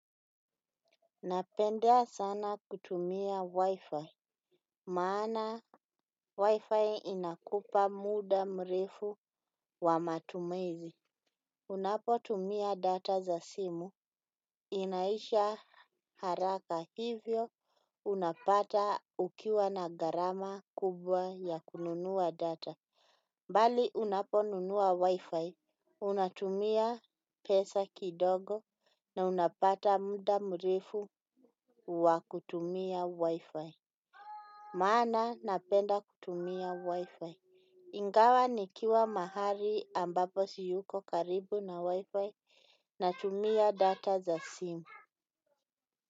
Napendea sana kutumia wi-fi, maana wi-fi inakupa muda mrefu wa matumizi. Unapotumia data za simu, inaisha haraka hivyo, unapata ukiwa na gharama kubwa ya kununua data. Bali unaponunua wifi, unatumia pesa kidogo na unapata muda mrefu wa kutumia wifi. Maana napenda kutumia wifi. Ingawa nikiwa mahali ambapo siyuko karibu na wifi natumia data za simu.